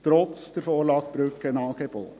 Dies trotz der Vorlage zu den Brückenangeboten.